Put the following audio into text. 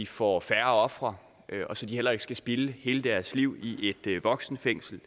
får færre ofre og så de heller ikke skal spilde hele deres liv i et voksenfængsel